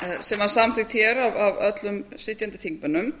sem var samþykkt hér af öllum sitjandi þingmönnum